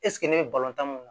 ne bɛ balontan mun